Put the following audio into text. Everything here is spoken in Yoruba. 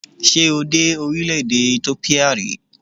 Ṣé o dé orílẹ̀-èdè Ethiopia rí?